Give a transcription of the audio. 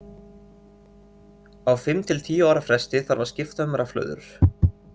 Á fimm til tíu ára fresti þarf að skipta um rafhlöður.